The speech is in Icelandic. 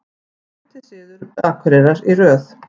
Fimmti sigur Akureyrar í röð